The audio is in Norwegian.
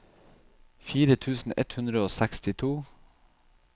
fire tusen ett hundre og sekstito